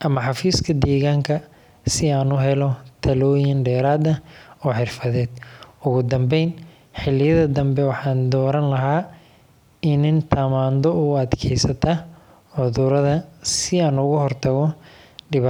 ama xafiiska deegaanka si aan u helo talooyin dheeraad ah oo xirfadeed. Ugu dambayn, xilliyada dambe waxaan dooran lahaa iniin tamaandho u adkaysata cudurada, si aan uga hortago dhibaatadaas.